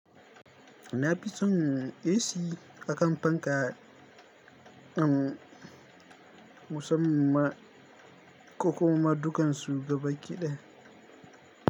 Na fi son AC a kan fanka in musamman kuma dukan su gaba kiɗe.